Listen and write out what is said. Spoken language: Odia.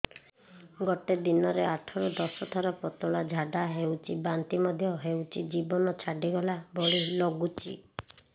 ଗୋଟେ ଦିନରେ ଆଠ ରୁ ଦଶ ଥର ପତଳା ଝାଡା ହେଉଛି ବାନ୍ତି ମଧ୍ୟ ହେଉଛି ଜୀବନ ଛାଡିଗଲା ଭଳି ଲଗୁଛି